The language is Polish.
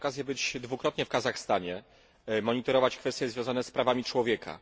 Miałem okazję być dwukrotnie w Kazachstanie, monitorować kwestie związane z prawami człowieka.